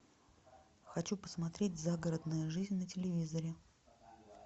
хочу посмотреть загородная жизнь на телевизоре